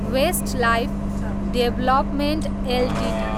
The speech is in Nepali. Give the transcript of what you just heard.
Westlife development Ltd